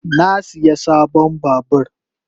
Na siya sabon babur.